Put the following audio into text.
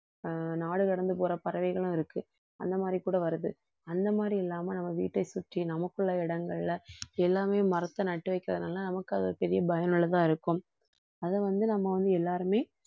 ஆஹ் நாடு கடந்து போற பறவைகளும் இருக்கு அந்த மாதிரி கூட வருது அந்த மாதிரி இல்லாம நம்ம வீட்டை சுற்றி நமக்குள்ள இடங்கள்ல எல்லாமே மரத்த நட்டு வைக்கிறதுனால நமக்கு அது பெரிய பயனுள்ளதா இருக்கும் அதை வந்து நம்ம வந்து எல்லாருமே